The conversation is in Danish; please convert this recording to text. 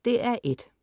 DR1: